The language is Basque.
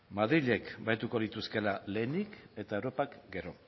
madrilek baliatuko lituzkeela lehenik eta europak gero